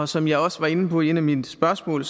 som jeg også var inde på i et af mine spørgsmål